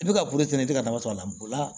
I bɛ ka bolifɛn i tɛ ka dama sɔrɔ a la